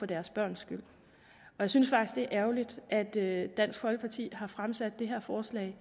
deres børns skyld jeg synes faktisk det er ærgerligt at at dansk folkeparti har fremsat det her forslag